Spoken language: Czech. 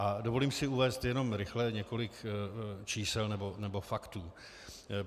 A dovolím si uvést jenom rychle několik čísel nebo faktů.